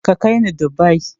Ka kai ni Dubai!